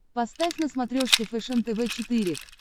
поставь на смотрешке фэшен тв четыре к